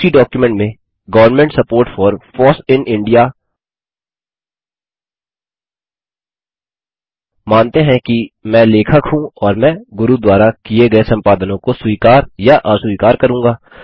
उसी डॉक्युमेंट में government support for foss in India मानते हैं कि मैं लेखक हूँ और मैं गुरू द्वारा किये गये संपादनों को स्वीकार या अस्वीकार करूँगा